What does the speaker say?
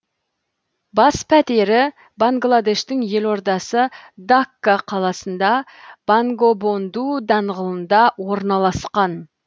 бас пәтері бангладештің елордасы дакка қаласында бонгобонду даңғылында орналасқан